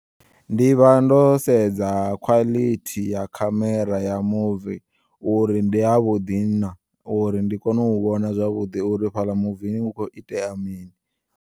Ndivha ndo sedza khwalithi ya khamera ya muvi uri ndi yavhuḓi nah uri ndi kone u vhona zwavhuḓi uri fhala muvini hu kho itea mini.